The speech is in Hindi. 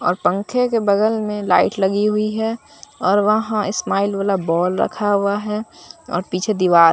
और पंखे के बगल में लाइट लगी हुई है और वहां स्माइल वाला बॉल रखा हुआ है और पीछे दीवार--